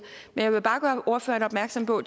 jeg vil bare gøre ordføreren opmærksom på